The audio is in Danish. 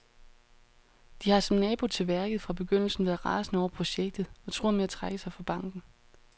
De har, som nabo til værket, fra begyndelsen været rasende over projektet og truer med at trække sig fra banken.